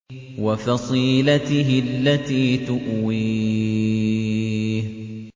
وَفَصِيلَتِهِ الَّتِي تُؤْوِيهِ